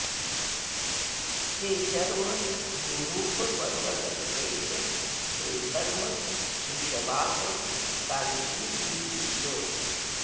हे शर्व भूरूप पर्वतसुतेश हे धर्म वृषवाह काञ्चीपुरीश